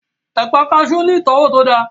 Ẹ̀pà kaasú ní ìtọ́wò tó dáa